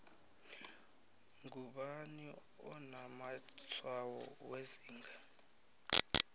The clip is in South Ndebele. ngubani onamatshwayo wezinga